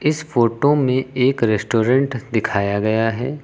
इस फोटो में एक रेस्टोरेंट दिखाया गया है।